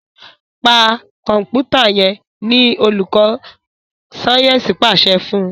Pa Kọ̀ǹpútà yén! ní olùkó Sáyẹnsì pàṣẹ fún?